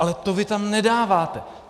Ale to vy tam nedáváte.